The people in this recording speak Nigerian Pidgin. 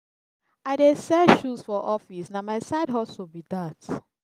i dey sell shoes for office na my side hustle be dat.